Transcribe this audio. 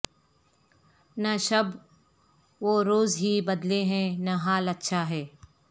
نہ شب و روز ہی بدلے ہیں نہ حال اچھا ہے